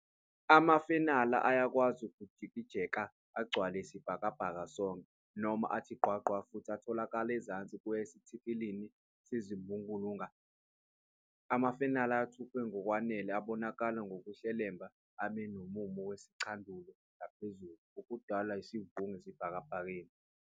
Amafenala ayakwazi ukujijeka agcwale isibhalabhaka sonke, noma athi gqwa gqwa futhi atholakala ezansi kuya esithikilini sezulumbulunga. Amafenala athuthuke ngokwanele abonakala ngkuhlelemba, abe nomumo wesicandulo ngaphezulu, okudalwa isivungu esibhakabhakeni.